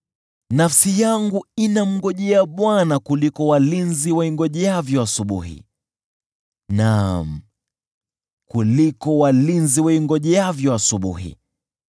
Nafsi yangu inamngojea Bwana kuliko walinzi waingojeavyo asubuhi, naam, kuliko walinzi waingojeavyo asubuhi.